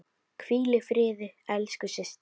Hvíl í friði elsku systir.